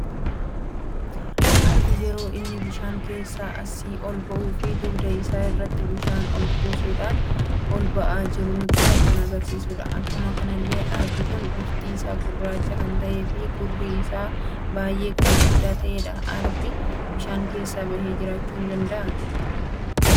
Arbi yeroo inni bishaan keessa asi olba'uu fi dugda isaa irratti bishaan ol kaasuudhan ol ba'aa jiru nutti kan agarsiisuudha. Akkuma kanallee Arbi kun bifti isa gurraacha kan ta'e fi gurri isa baay'ee kan gudda ta'edha. Arbi bishaan keessa bahe jirachu danda'a?